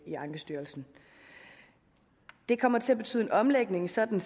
i ankestyrelsen det kommer til at betyde en omlægning sådan